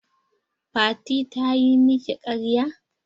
Fati ta yi miki ƙarya?